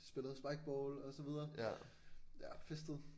Spillet spikeball og så videre ja festet